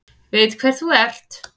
Veit hver þú ert.